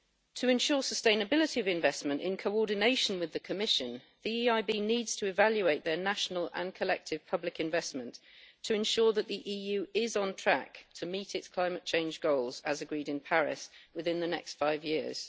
To ensure sustainability of investment in coordination with the Commission, the EIB needs to evaluate their national and collective public investment to ensure that the EU is on track to meet its climate change goals as agreed in Paris within the next five years.